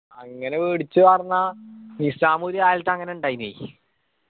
അങ്ങനെ വേടിച്ചു പറഞ്ഞാ നിസ്സാമ് ഒരു കാലത്ത് അങ്ങനെ ഇണ്ടായിന്